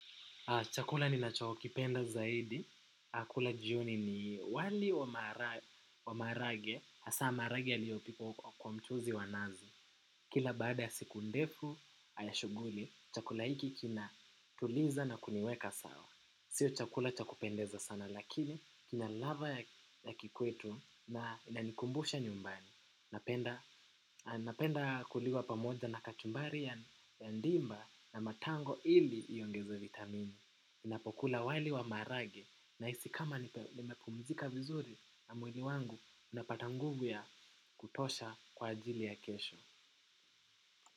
Chakula ninacho kipenda zaidi, kula jioni ni wali wa maharage, hasaa maharage yaliyopikwa kwa mchuzi wa nazi. Kila baada ya siku ndefu shughuli, chakula hiki kinatuliza na kuniweka sawa. Sio chakula cha kupendeza sana, lakini kina ladhaa ya kikwetu na inanikumbusha nyumbani. Napenda kuliwa pamoja na kachumbari ya ndimu na matango ili iongezee vitamini. Inapokula wali wa maharage nahisi kama nimepumzika vizuri na mwili wangu unapata nguvu ya kutosha kwa ajili ya kesho.